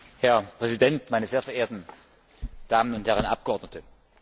Herr Präsident, meine sehr verehrten Damen und Herren Abgeordnete!